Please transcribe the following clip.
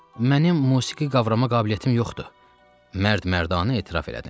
Mənim musiqi qavrama qabiliyyətim yoxdur, mərd-mərdanə etiraf elədim.